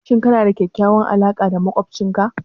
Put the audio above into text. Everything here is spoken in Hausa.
Shin kana da kyakkyawar alaƙa da maƙocinka?